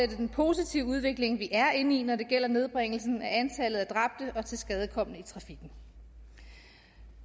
den positive udvikling vi er inde i når det gælder nedbringelsen af antallet af dræbte og tilskadekomne i trafikken